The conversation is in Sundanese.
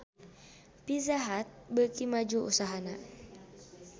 Pizza Hut beuki maju usahana